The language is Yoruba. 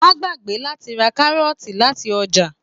Má gbàgbé láti ra Kárọ́ọ̀tì láti ọjà.